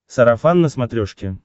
сарафан на смотрешке